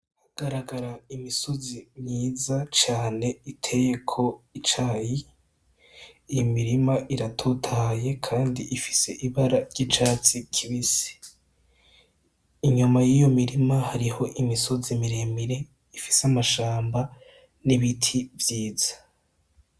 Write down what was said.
Hagaragara imisozi myiza cane iteyeko icayi iyo mirima iratotahaye kandi ifise ibara ryicatsi kibisi inyuma yiyo mirima hariho imisozi miremire ifise amashamba nibiti vyiza.